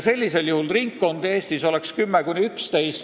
Sellisel juhul oleks Eestis 10–11 ringkonda.